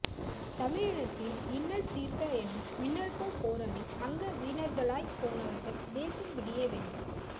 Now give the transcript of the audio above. தமிழினத்தின் இன்னல் தீர்க்க என மின்னல்போல் போராடி அங்கவீனர்களாய்ப்போனவர்கள் தேசம் விடியவேண்டும்